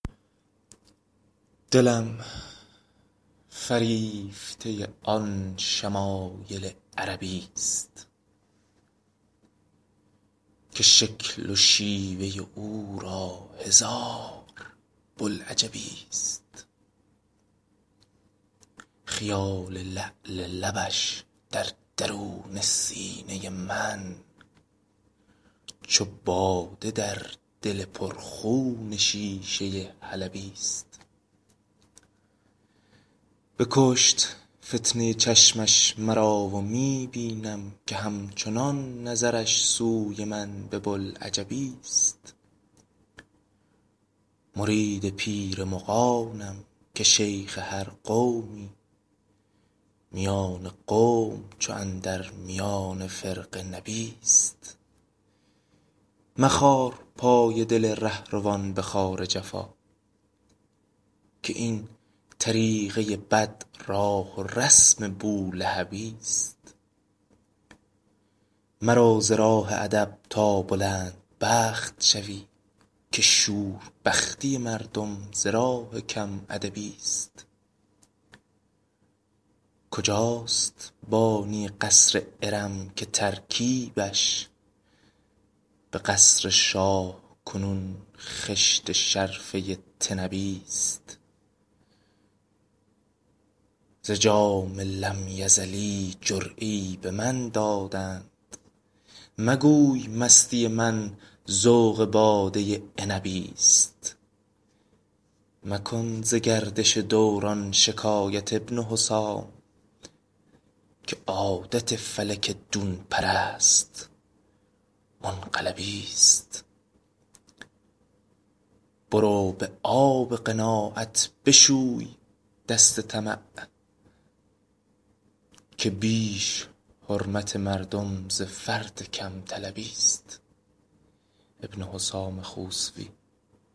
دلم فریفته آن شمایل عربی ست که شکل و شیوه او را هزار بوالعجبی ست خیال لعل لبش در درون سینه من چو باده در دل پر خون شیشه حلبی ست بکشت فتنه چشمش مرا و می بینم که همچنان نظرش سوی من به بولعجبی ست مرید پیر مغانم که شیخ هر قومی میان قوم چو اندر میان فرقه نبی ست مخار پای دل رهروان به خار جفا که این طریقه بد راه و رسم بولهبی ست مرو ز راه ادب تا بلندبخت شوی که شوربختی مردم ز راه کم ادبی ست کجاست بانی قصر ارم که ترکیبش به قصر شاه کنون خشت شرفه طنبی ست ز جام لم یزلی جرعه ای به من دادند مگوی مستی من ذوق باده عنبی ست مکن ز گردش دوران شکایت ابن حسام که عادت فلک دون پرست منقلبی ست برو به آب قناعت بشوی دست طمع که بیش حرمت مردم ز فرط کم طلبی ست